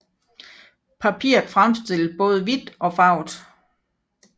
Papiret fremstilles både hvidt og farvet